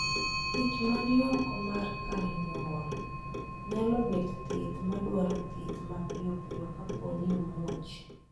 ich ma ni oko mar kar nyuok nyalo bet thieth ma dwaro thieth mapio pio ka po ni omuoch